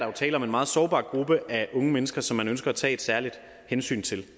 jo tale om en meget sårbar gruppe af unge mennesker som man ønsker at tage et særligt hensyn til